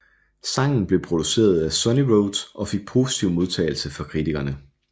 Sangen blev produceret af Sunnyroads og fik positiv modtagelse fra kritikerne